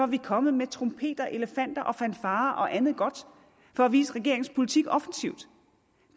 vi kommet med trompeter elefanter og fanfarer og andet godt for at vise regeringens politik offensivt